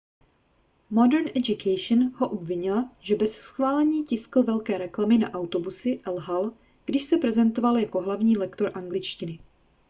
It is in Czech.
modern education ho obvinila že bez schválení tiskl velké reklamy na autobusy a lhal když se prezentoval jako hlavní lektor angličtiny